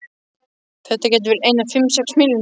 Þetta gætu verið einar fimm, sex milljónir.